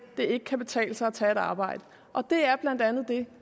det ikke kan betale sig at tage et arbejde og det er blandt andet det